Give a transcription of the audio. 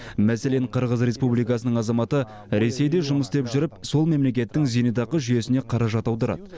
мәселен қырғыз республикасының азаматы ресейде жұмыс істеп жүріп сол мемлекеттің зейнетақы жүйесіне қаражат аударады